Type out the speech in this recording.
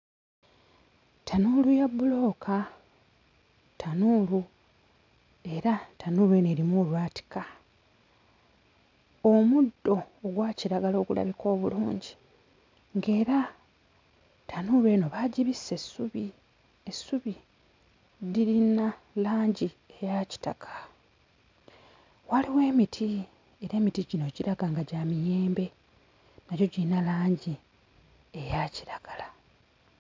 Ttanuulu ya bbulooka ttanuulu era ttanuulu eno erimu olwatika. Omuddo ogwa kiragala ogulabika obulungi, ng'era ttanuulu eno baagibisse essubi, essubi lirina langi eya kitaka. Waliwo emiti era emiti gino giraga nga gya miyembe nagyo girina langi eya kiragala.